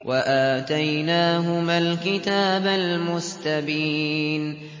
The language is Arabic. وَآتَيْنَاهُمَا الْكِتَابَ الْمُسْتَبِينَ